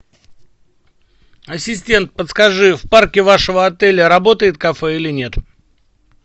ассистент подскажи в парке вашего отеля работает кафе или нет